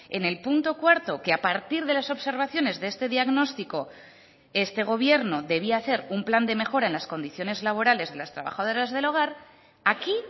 en el punto cuarto que a partir de las observaciones de este diagnóstico este gobierno debía hacer un plan de mejora en las condiciones laborales de las trabajadoras del hogar aquí